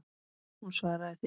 Hún svaraði því.